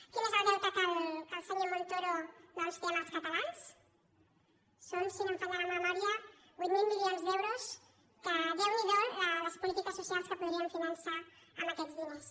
quin és el deute que el senyor montoro doncs té amb els cata·lans són si no em falla la memòria vuit mil milions d’euros que déu n’hi do les polítiques socials que po·dríem finançar amb aquests diners